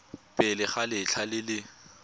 pele ga letlha le le